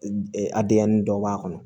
A denyɛrɛnin dɔ b'a kɔnɔ